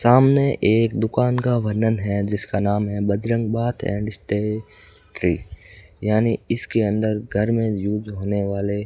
सामने एक दुकान का वर्णन है जिसका नाम है Bajrang bath and stay free यानी इसके अंदर घर में यूज होने वाले --